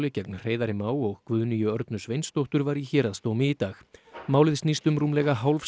gegn Hreiðari Má og Guðnýju Örnu Sveinsdóttur var í héraðsdómi í dag málið snýst um rúmlega hálfs